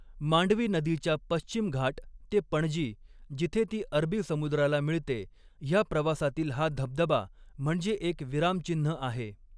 मांडवी नदीच्या पश्चिम घाट ते पणजी, जिथे ती अरबी समुद्राला मिळते, ह्या प्रवासातील हा धबधबा म्हणजे एक विरामचिन्ह आहे.